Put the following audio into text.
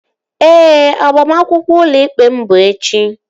Ee, agbamakwụkwọ ụlọ ikpe m bụ echi